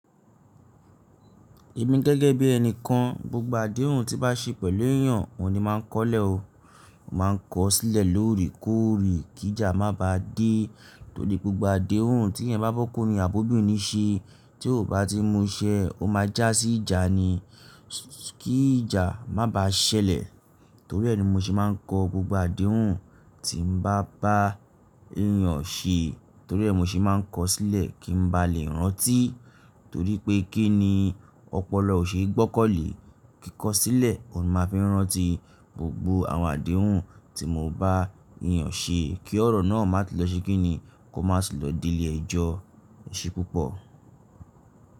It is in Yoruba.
Èmi gẹ́gẹ́ bí ẹni kan, gbogbo àdéhùn tí n bá ṣe pẹ̀lú èyàn, òun ní máa ń kọ́lẹ̀ mo, màá n kọ ó sílẹ̀ lóòrèkóòrè kí ìjà má ba dé. Torí gbogbo àdéhùn tí èèyàn bá bọ́kùnrin àbí obìnrin ṣe tí ó bati muse oma já si ìjà ni. Kí i ìjà maba ṣẹlẹ̀ torí ẹ ni mo ṣe máa ń kọ gbogbo àdéhùn tí n bá bá èyàn ṣe, torí ẹ́ mo sì máa kọ ó sílẹ̀ kí n ba lè rántí torí pé kí ni ọpọlọ ò ṣe é gbọ́kanlẹ̀, kí kọ ó sílẹ̀, o ní máa fi rántí gbogbo àwọn àdéhùn tí mo bá èyàn ṣe kí ọ̀rọ̀ náà má tún lọ ṣe kí ni, kó má sì lọ dé ilé ẹjọ́. Ẹ̀ṣẹ̀ púpọ̀.